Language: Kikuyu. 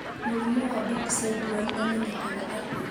Mũrimũ wa Book syndrome ũmenyekaga atĩa?